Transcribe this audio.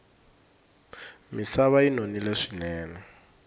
misava yi nonile swinene